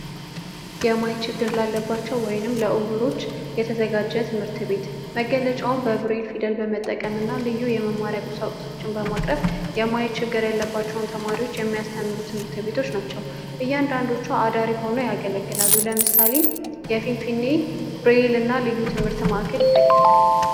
የማየት ችግር ላለባቸው ወይም ለእውሮ የተዘጋጀ ትምህርት ቤት መገለጫውም የብሬል ፊደል በመጠቀም እና ልዩ የመማሪያ ቁሳቁሶችን በማቅረብ የማያ ችግር ያለባቸውን ተማሪዎች የሚያስተምሩ ትምህርት ቤቶች ናቸው። እያንዳንዱ አዳሪ ሁነው ያገለግላሉ። ለምሳሌ የፊንፊኔ ብሬል እና ልዩ ትምህርት ቤት ይጠቀሳል።